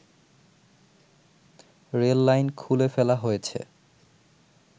rail line খুলে ফেলা হয়েছে